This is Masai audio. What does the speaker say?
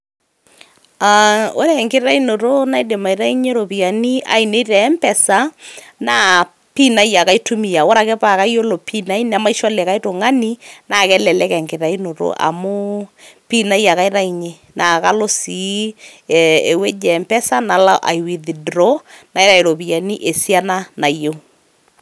Aa ore enkitaunoto naidim aitayunye ropiani ainei te mpesa naa pin ai ake aitumia. Ore ake paake ayiolo pin ai nemaisho likai tung'ani naake elelek enkitayunoto amu pin ai ake aitayunye naa kalo sii ewueji e mpesa nalo ai withdraw iropiani esiana nayeu.